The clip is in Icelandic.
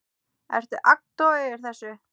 Ertu agndofa yfir þessu?